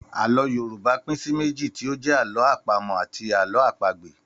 Àlọ́ Yorùbá pín sí méjì tí ó jẹ́ Àlọ́ àpamọ̀ àti Àlọ́ àpagbè